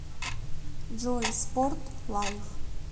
джой спорт лайв